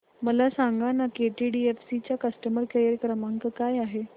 मला सांगाना केटीडीएफसी चा कस्टमर केअर क्रमांक काय आहे